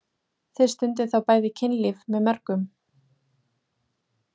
Þið stundið þá bæði kynlíf með mörgum.